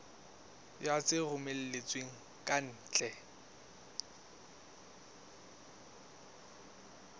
ya tse romellwang ka ntle